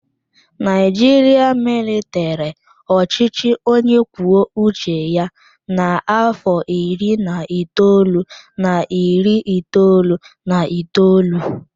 Naijiria malitere ọchịchị onye kwuo uche ya n'afọ iri na itoolu na iri itoolu na itoolu.